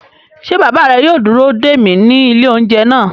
Ṣé bàbá rẹ yóò dúró dè mí ní ilé-oúnjẹ náà?